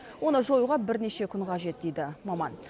оны жоюға бірнеше күн қажет дейді маман